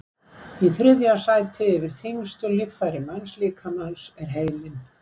í þriðja sæti yfir þyngstu líffæri mannslíkamans er heilinn